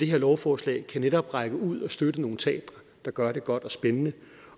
lovforslag netop kan række ud og støtte nogle teatre der gør det godt og spændende